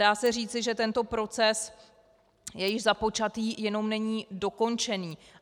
Dá se říci, že tento proces je již započatý, jenom není dokončený.